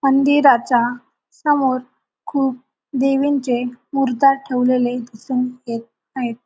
मंदिराचा समोर खूप देवींचे मूर्ती ठेवलेले दिसून येत आहेत.